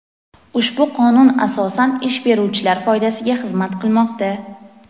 Ushbu qonun asosan ish beruvchilar foydasiga xizmat qilmoqda.